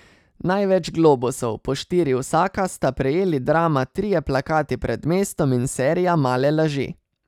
Največ globusov, po štiri vsaka, sta prejeli drama trije plakati pred mestom in serija Male laži.